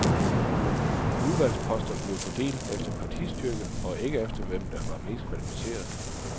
Udvalgsposter blev fordelt efter partistyrke og ikke efter, hvem der var mest kvalificeret.